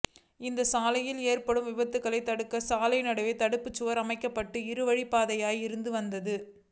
இந்த சாலையில் ஏற்படும் விபத்துகளைத் தடுக்க சாலை நடுவே தடுப்புசுவா் அமைக்கபட்டு இருவழிப்பாதையாக இருந்து வந்தது